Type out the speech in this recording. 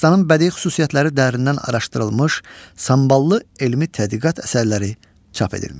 Dastanın bədii xüsusiyyətləri dərindən araşdırılmış, samballı elmi tədqiqat əsərləri çap edilmişdir.